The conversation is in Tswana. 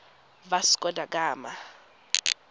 vasco da gama